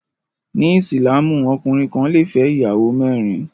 Ní ìsìlámù, ọkùnrin kan lè fẹ́ ìyàwó mẹ́rin